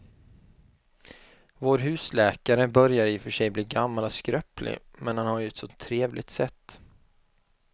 Vår husläkare börjar i och för sig bli gammal och skröplig, men han har ju ett sådant trevligt sätt!